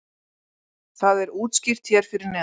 það er útskýrt hér fyrir neðan